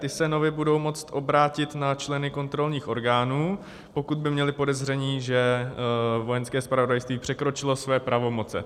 Ti se nově budou moct obrátit na členy kontrolních orgánů, pokud by měli podezření, že Vojenské zpravodajství překročilo své pravomoce.